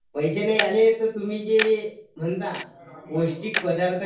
पैसे नाही आले तर तुम्ही जे म्हणता पौष्टिक पदार्थ